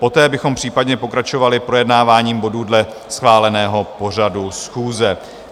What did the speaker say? Poté bychom případně pokračovali projednáváním bodů dle schváleného pořadu schůze.